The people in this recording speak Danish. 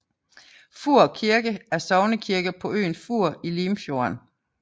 Fur Kirke er sognekirke på øen Fur i Limfjorden